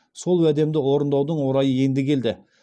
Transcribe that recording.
сол уәдемді орындаудың орайы енді келді